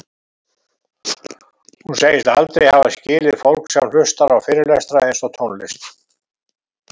Hún segist aldrei hafa skilið fólk sem hlustar á fyrirlestra eins og tónlist